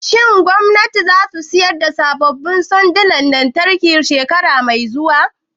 Shin gwamnatin za su saya sabbin sandonan lantarki shekara mai zuwa?